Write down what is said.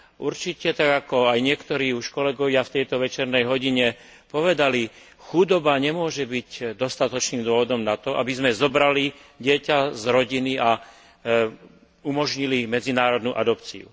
Určite, tak ako aj niektorí kolegovia už v tejto večernej hodine povedali, chudoba nemôže byť dostatočným dôvodom na to, aby sme zobrali dieťa z rodiny a umožnili medzinárodnú adopciu.